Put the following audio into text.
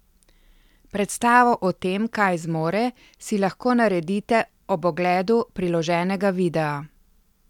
Predstavo o tem, kaj zmore, si lahko naredite ob ogledu priloženega videa.